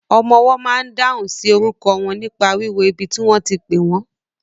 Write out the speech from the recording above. Ọmọwọ́ ma n dáhùn sí orúkọ wọn nípa wíwo ibi tí wọ́n ti pẹ́ wọ́n.